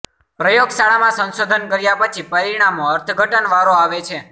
પ્રયોગશાળામાં સંશોધન કર્યા પછી પરિણામો અર્થઘટન વારો આવે છે